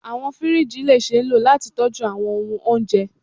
Awọn firiji le ṣee lo lati tọju awọn ohun ounjẹ